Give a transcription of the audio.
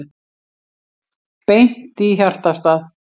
Beint í hjartastað